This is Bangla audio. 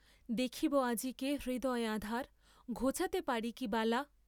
দেখিব আজিকে হৃদয় আঁধার ঘোচাতে পারি কি বালা।